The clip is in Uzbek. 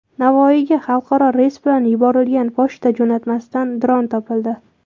Navoiyga xalqaro reys bilan yuborilgan pochta jo‘natmasidan dron topildi.